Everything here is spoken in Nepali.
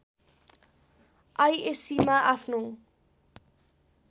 आईएस्सीमा आफ्नो